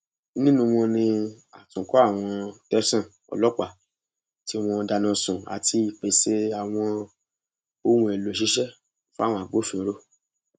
nínú wọn ni àtúnkọ àwọn tẹsán ọlọpàá tí wọn dáná sun àti ìpèsè àwọn ohun èèlò ìṣiṣẹ fáwọn agbófinró